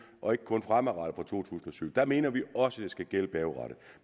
og ikke kun fremadrettet fra to tusind og syv der mener vi også at det skal gælde bagudrettet